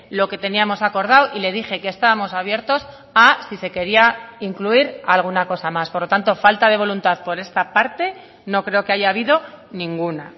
lo que teníamos acordado y le dije que estábamos abiertos a si se quería incluir alguna cosa más por lo tanto falta de voluntad por esta parte no creo que haya habido ninguna